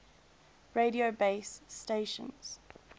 radio base stations